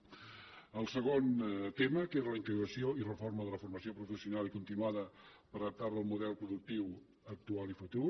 el segon tema que era la integració i reforma de la formació professional i continuada per adaptar la al model productiu actual i futur